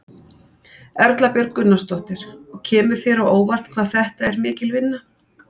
Erla Björg Gunnarsdóttir: Og kemur þér á óvart hvað þetta er mikil vinna?